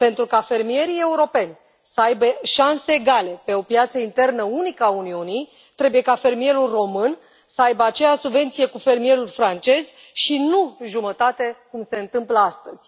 Pentru ca fermierii europeni să aibă șanse egale pe o piață internă unică a Uniunii, trebuie ca fermierul român să aibă aceeași subvenție ca fermierul francez și nu jumătate, cum se întâmplă astăzi.